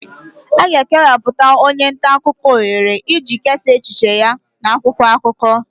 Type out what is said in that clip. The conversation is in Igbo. A ga-ekewapụtara onye nta akụkọ ohere iji kesaa echiche ya n'akwụkwọ akụkọ